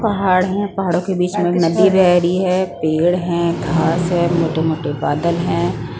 पहाड़ हैं पहाड़ों के बीच में नदी बह रही हैं पेड़ हैं घास हैं मोटे-मोटे बादल हैं ।